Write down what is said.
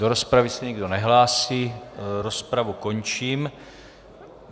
Do rozpravy se nikdo nehlásí, rozpravu končím.